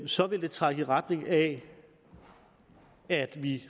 så vil trække i retning af at vi